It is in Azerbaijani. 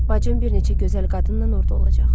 Bacım bir neçə gözəl qadınla orda olacaq.